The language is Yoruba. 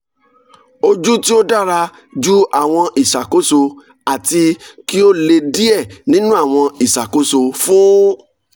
oju ti o dara ju awọn iṣakoso ati ki o le diẹ ninu awọn iṣakoso fun